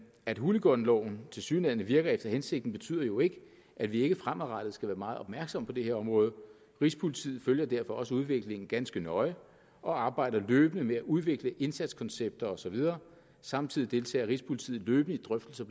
at hooliganloven tilsyneladende virker efter hensigten betyder jo ikke at vi ikke fremadrettet skal være meget opmærksomme på det her område rigspolitiet følger derfor også udviklingen ganske nøje og arbejder løbende med at udvikle indsatskoncepter og så videre samtidig deltager rigspolitiet løbende i drøftelser